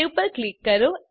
save પર click કરો